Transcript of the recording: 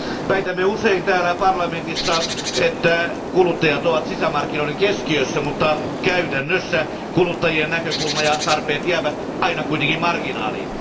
Väitämme usein täällä parlamentissa, että kuluttajat ovat sisämarkkinoiden keskiössä, mutta käytännössä kuluttajien näkökulma ja tarpeet jäävät aina kuitenkin marginaaliin.